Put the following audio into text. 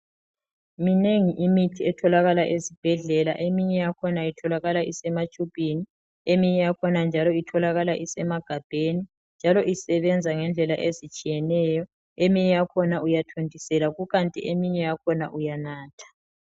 Minengi imithi etholakala esibhedlela. Eminye itholakala isematshubhini, eminye yakhona njalo itholakala isemagabheni njalo isebenza ngendlela ezitshiyeneyo eminye yakhona uyathontisela kukanti eminye yakhona uyanatha.